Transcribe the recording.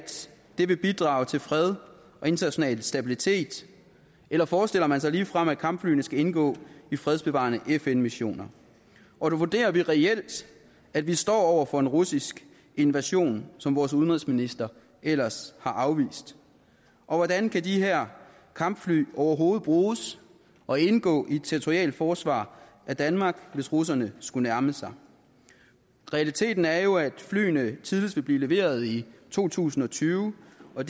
det vil bidrage til fred og international stabilitet eller forestiller man sig ligefrem at kampflyene skal indgå i fredsbevarende fn missioner og vurderer vi reelt at vi står over for en russisk invasion som vores udenrigsminister ellers har afvist og hvordan kan de her kampfly overhovedet bruges og indgå i et territorialt forsvar af danmark hvis russerne skulle nærme sig realiteten er jo at flyene tidligst vil blive leveret i to tusind og tyve og